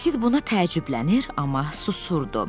Sid buna təəccüblənir, amma susurdu.